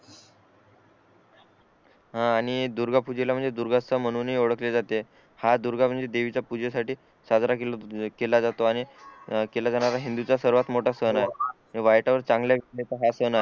हा आणि दुर्गा पूजेला म्हणजे दुर्गमता म्हणून हि ओळखले जाते हा दुर्गा म्हणजे देवीच्या पूजे साठी साजरा केला जातो आणि केला जाणार हिंदू चा सर्वात मोठा सण आहे वाईटावर चांगल्याच हा सण आहे